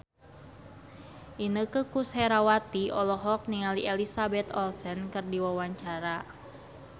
Inneke Koesherawati olohok ningali Elizabeth Olsen keur diwawancara